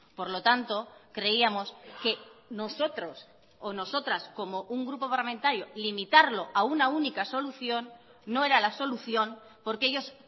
por lo tanto creíamos que nosotros o nosotras como un grupo parlamentario limitarlo a una única solución no era la solución porque ellos